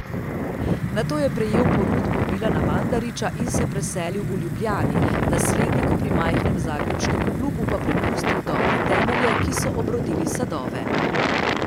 Nato je prejel ponudbo Milana Mandarića in se preselil v Ljubljani, nasledniku pri majhnem zagrebškem klubu pa prepustil dobre temelje, ki so obrodili sadove.